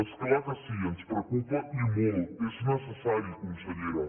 és clar que sí ens preocupa i molt és necessari consellera